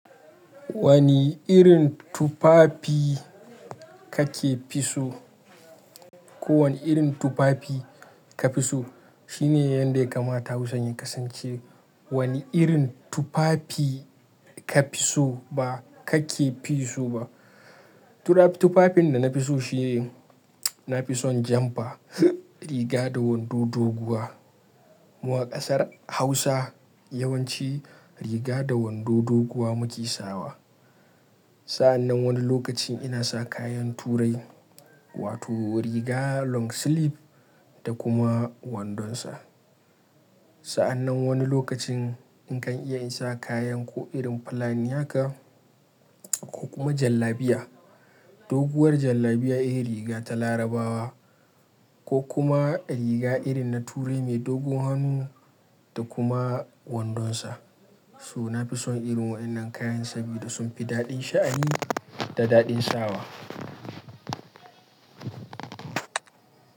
Wani irin tufafi ka fi so? Ko wani irin tufafi ka fi so? Shine yanda ya kamata Hausar ta kasance. Wani irin tufafi ka fi so ba kake fi so ba. Tufafin da na fi so shi ne na fi son rigar jumper da wando doguwa. Mu a ƙasar Hausa yawanci riga da wando doguwa muke saka wa. Sannan wani lokacin ina saka kayan turai wato riga long sleeve da kuma wandon sa. Sannan wani lokacin nakan iya saka kayan irin na Fulani haka ko kuma jallabiya. Doguwar jallabiya irin rigar Larabawa ko kuma riga irin ta turai mai dogon hannu da kuma wandonsa. To na fi son irin waɗannan kayan saboda sun fi daɗin sha'ani da daɗin sakawa.